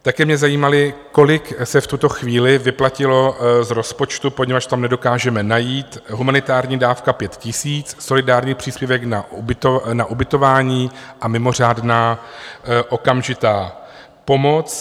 Také mě zajímalo, kolik se v tuto chvíli vyplatilo z rozpočtu, poněvadž tam nedokážeme najít - humanitární dávka 5 000, solidární příspěvek na ubytování a mimořádná okamžitá pomoc.